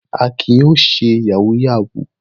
Akin yóò ṣe yahoo yahoo!